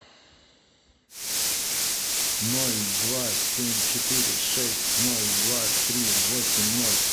ноль два семь четыре шесть ноль два три восемь ноль